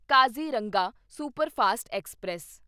Kaziranga superfast express